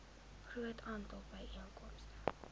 groot aantal byeenkomste